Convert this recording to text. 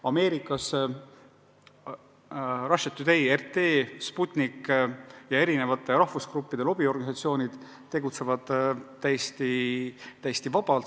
Ameerikas tegutsevad Russia Today, RT, Sputnik ja eri rahvusgruppide lobiorganisatsioonid täiesti vabalt.